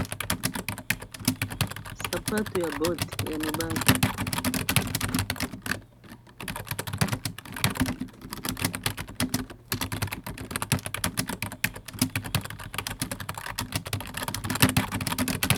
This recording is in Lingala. Sapato ya bot ya mibali.